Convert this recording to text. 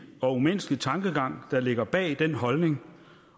og umenneskelig tankegang der ligger bag den holdning